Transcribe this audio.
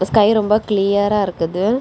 இந்த ஸ்கை ரொம்ப கிளியரா இருக்குது.